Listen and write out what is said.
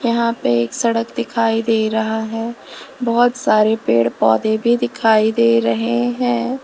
यहां पे एक सड़क दिखाई दे रहा है बहोत सारे पेड़ पौधे भी दिखाई दे रहे हैं।